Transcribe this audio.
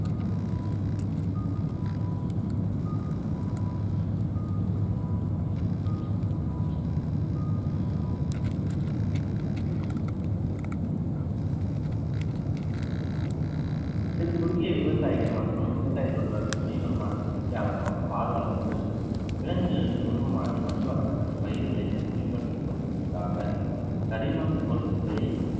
சிறு குறுகிய விவசாயிகள் மற்றும் விவசாய தொழிலாளர்கள் துணை வருமானத்தின் முக்கிய ஆதரவாக பால் வளம் உள்ளது விலங்குகளின் உருவமானது மண் வளம் மற்றும் பயிர் விளைச்சலை மேம்படுத்துவதற்காக கரிமம் பொருட்களை